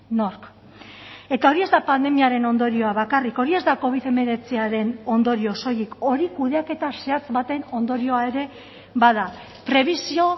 nork eta hori ez da pandemiaren ondorioa bakarrik hori ez da covid hemeretziaren ondorio soilik hori kudeaketa zehatz baten ondorioa ere bada prebisio